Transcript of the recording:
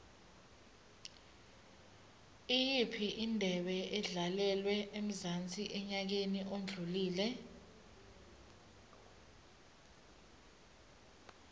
iyiphi indebe edlalelwe emzansi enyakeni odlule